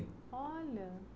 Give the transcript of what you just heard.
Olha.